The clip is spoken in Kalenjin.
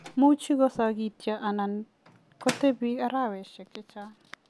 Much ko sokityo anan ko tebi araweshek chechang'.